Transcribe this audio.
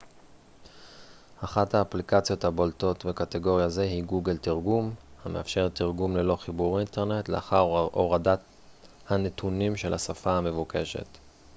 אחת האפליקציות הבולטות בקטגוריה זו היא גוגל תרגום המאפשרת תרגום ללא חיבור אינטרנט לאחר הורדה הנתונים של השפה המבוקשת